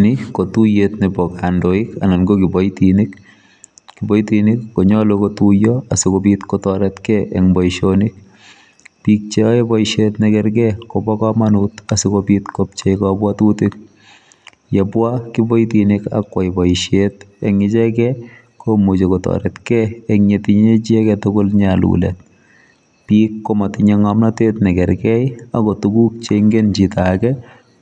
Ni kotuiyetab kandoik anan kokiboitinik jiboitinik konyolu kotuiyo asikobit kotoretkei eng boisionik bik cheoe boisiet nekerkei kobokomonut asikobit kopchei yebwa kiboitinik akwai boisiet eng ichekei komuchi kotoretkei engyetinye icheget tugul nyalulet bik komatinye ngomnotet chekerkei agotuguk cheingen chitoage